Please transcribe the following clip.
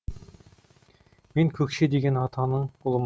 мен көкше деген атаның ұлым